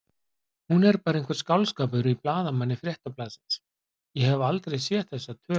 Hún er bara einhver skáldskapur í blaðamanni Fréttablaðsins, ég hef aldrei séð þessa tölu.